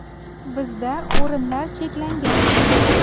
Bizda o‘rinlar cheklangan.